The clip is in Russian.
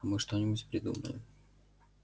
а мы что-нибудь придумаем